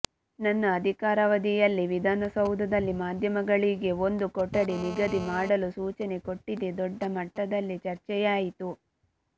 ನನ್ನ ಅಧಿಕಾರಾವಧಿಯಲ್ಲಿ ವಿಧಾನಸೌಧದಲ್ಲಿ ಮಾಧ್ಯಮಗಳಿಗೆ ಒಂದು ಕೊಠಡಿ ನಿಗದಿ ಮಾಡಲು ಸೂಚನೆ ಕೊಟ್ಟಿದ್ದೆ ದೊಡ್ಡ ಮಟ್ಟದಲ್ಲಿ ಚರ್ಚೆಯಾಯಿತು